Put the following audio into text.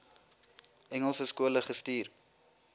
engelse skole gestuur